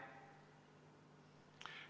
Jah.